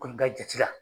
Kɔni ka jate la